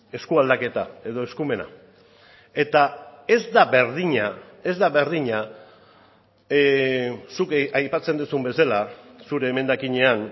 eskualdaketa edo eskumena eta ez da berdina ez da berdina zuk aipatzen duzun bezala zure emendakinean